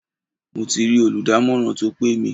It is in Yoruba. Mo ti rí olùdámọ̀ràn tó pè mí.